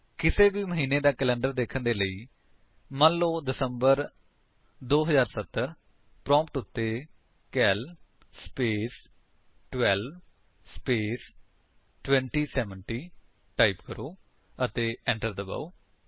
ਕਿਸੇ ਵੀ ਮਹੀਨੇ ਦਾ ਕੈਲੰਡਰ ਦੇਖਣ ਦੇ ਲਈ ਮੰਨ ਲੋ ਦਿਸੰਬਰ 2070 ਪ੍ਰੋਂਪਟ ਉੱਤੇ ਕਾਲ ਸਪੇਸ 12 ਸਪੇਸ 2070 ਟਾਈਪ ਕਰੋ ਅਤੇ enter ਦਬਾਓ